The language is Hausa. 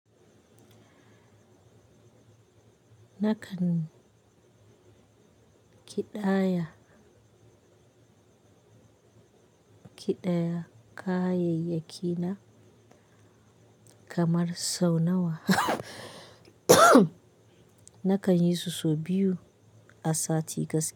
Nakan kiɗaya, kiɗaya kayayyaki na kamar sau nawa. Nakan yi su sau biyu a sati gaskiya.